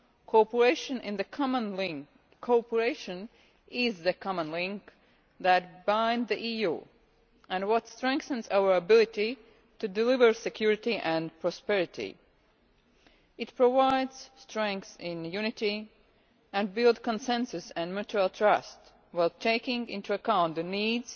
Cooperation is the common link that binds the EU and what strengthens our ability to deliver security and prosperity. It provides strength in unity and builds consensus and mutual trust, while taking into account the needs,